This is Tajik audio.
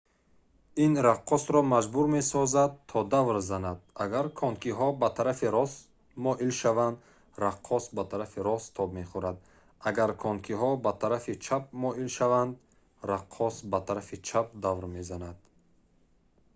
ин раққосро маҷбур месозад то давр занад агар конкиҳо ба тарафи рост моил шаванд раққос ба тарафи рост тоб мехӯрад агар конкиҳо ба тарафи чап моил шаванд раққос ба тарафи чап давр мезанад